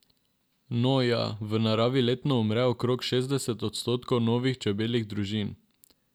No, ja, v naravi letno umre okrog šestdeset odstotkov novih čebeljih družin.